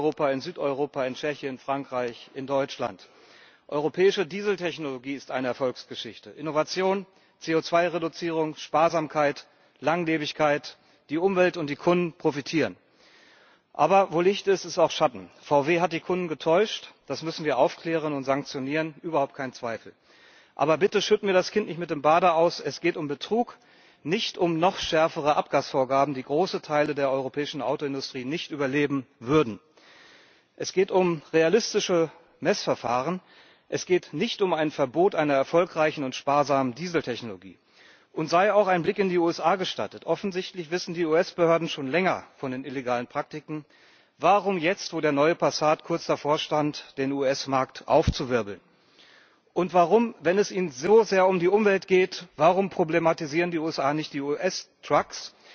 Herr Präsident! Die europäische Automobilindustrie ist eine Erfolgsgeschichte. Produktion, Zulieferung schaffen Millionen Arbeitsplätze in Osteuropa, in Südeuropa, in Tschechien, in Frankreich, in Deutschland. Europäische Diesel Technologie ist eine Erfolgsgeschichte, Innovation, CO2 Reduzierung, Sparsamkeit, Langlebigkeit die Umwelt und die Kunden profitieren. Aber wo Licht ist, ist auch Schatten. VW hat die Kunden getäuscht. Das müssen wir aufklären und sanktionieren, überhaupt kein Zweifel. Aber bitte, schütten wir das Kind nicht mit dem Bade aus! Es geht um Betrug, nicht um noch schärfere Abgasvorgaben, die große Teile der europäischen Autoindustrie nicht überleben würden. Es geht um realistische Messverfahren es geht nicht um ein Verbot einer erfolgreichen und sparsamen Dieseltechnologie. Uns sei auch ein Blick in die USA gestattet Offensichtlich wissen die US Behörden schon länger von den illegalen Praktiken. Warum jetzt, wo der neue Passat kurz davor stand, den US Markt aufzuwirbeln? Und warum, wenn es ihnen so sehr um die Umwelt geht, problematisieren die USA nicht die